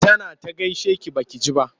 Tana ta gaishe ki ba ki ji ba.